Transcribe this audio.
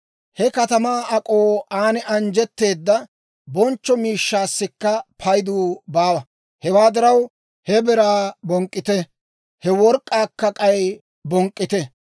He katamaa ak'oo, aan minjjetteedda bonchcho miishshaassikka paydu baawa. Hewaa diraw, he biraa bonk'k'ite! He work'k'aakka k'ay bonk'k'ite!